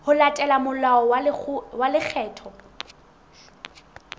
ho latela molao wa lekgetho